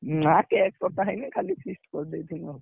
ନା cake କଟା ହେଇନି ଖାଲି feast କରିଦେଇଥିଲୁ ଆଉ